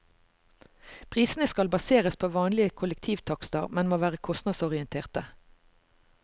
Prisene skal baseres på vanlige kollektivtakster, men må være kostnadsorienterte.